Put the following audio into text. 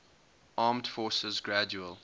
armed forces gradual